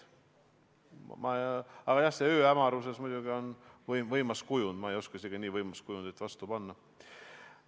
Aga jah, see ööhämaruse kujund on muidugi võimas, ma ei oskagi teist nii võimsat kujundit vastu panna.